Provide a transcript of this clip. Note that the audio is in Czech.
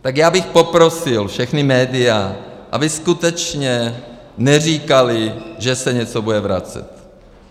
Tak já bych poprosil všechna média, aby skutečně neříkala, že se něco bude vracet.